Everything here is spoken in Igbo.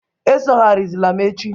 Esogharizila m echi!